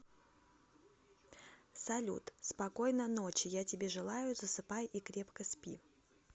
салют спокойно ночи я тебе желаю засыпай и крепко спи